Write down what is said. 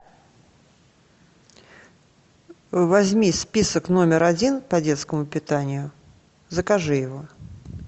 возьми список номер один по детскому питанию закажи его